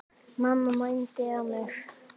Mamma mændi á mig.